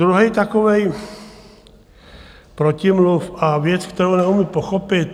Druhý takový protimluv a věc, kterou nemohu pochopit...